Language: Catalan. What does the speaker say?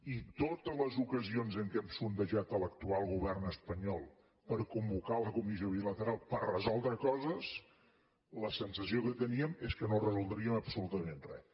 i totes les ocasions en què hem sondejat l’actual govern espanyol per convocar la comissió bilateral per resoldre coses la sensació que teníem és que no resoldríem absolutament res